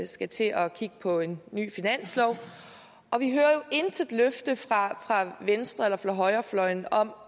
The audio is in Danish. skal til at kigge på en ny finanslov og vi hører jo intet løfte fra venstre eller fra højrefløjen om